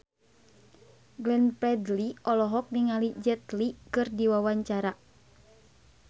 Glenn Fredly olohok ningali Jet Li keur diwawancara